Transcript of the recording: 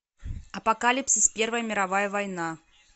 апокалипсис первая мировая война